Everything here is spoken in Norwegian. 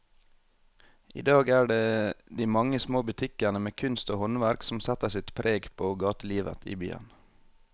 I dag er det de mange små butikkene med kunst og håndverk som setter sitt preg på gatelivet i byen.